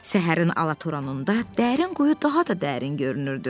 Səhərin alatoranında dərin quyu daha da dərin görünürdü.